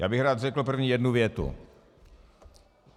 Já bych rád řekl prvně jednu větu.